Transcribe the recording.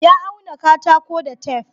ya auna katako da tef